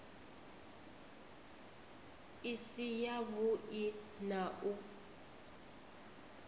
i si yavhui na u